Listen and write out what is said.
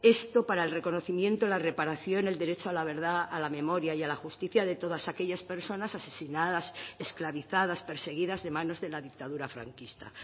esto para el reconocimiento la reparación el derecho a la verdad a la memoria y a la justicia de todas aquellas personas asesinadas esclavizadas perseguidas de manos de la dictadura franquista